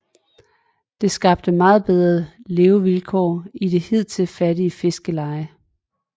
Det skabte meget bedre levevilkår i det hidtil fattige fiskerleje